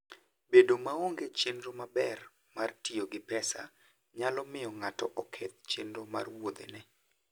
Bedo maonge chenro maber mar tiyo gi pesa nyalo miyo ng'ato oketh chenro mar wuodheno.